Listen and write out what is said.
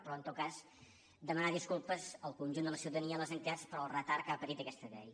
però en tot cas demanar disculpes al conjunt de la ciutadania a les entitats pel retard que ha patit aquesta llei